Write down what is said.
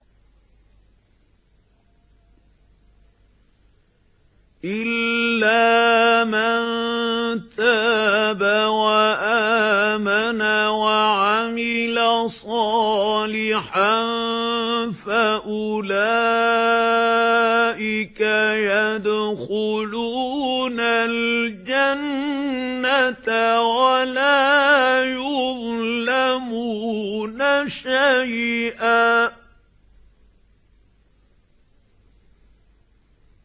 إِلَّا مَن تَابَ وَآمَنَ وَعَمِلَ صَالِحًا فَأُولَٰئِكَ يَدْخُلُونَ الْجَنَّةَ وَلَا يُظْلَمُونَ شَيْئًا